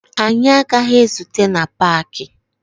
Anyị agaghị ezute na paakị